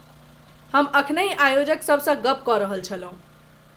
हम अखनहि आयोजक सभसँ गप्प कऽ रहल छलहुँ।